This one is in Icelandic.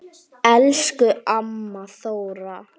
Elsku amma Þóra.